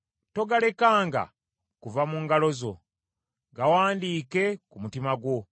togalekanga kuva mu ngalo zo, gawandiike ku mutima gwo.